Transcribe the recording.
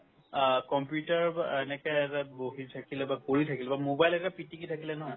আ, computer বা এনেকে ওচৰত বহি থাকিলে বা কৰি থাকিল বা mobile এটা পিটিকি থাকিলে নহয়